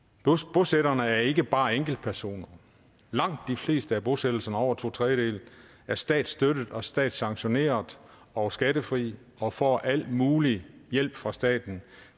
bosætterne er ikke bare enkeltpersoner langt de fleste af bosættelserne over to tredjedele er statsstøttede og statssanktionerede og skattefri og får al mulig hjælp fra staten